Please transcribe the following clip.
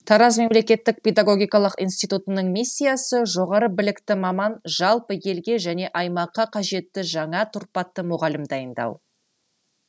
тараз мемлекеттік педагогикалық институтының миссиясы жоғары білікті маман жалпы елге және аймаққа қажетті жаңа тұрпатты мұғалім дайындау